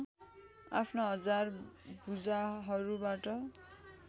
आफ्ना हजार भुजाहरूबाट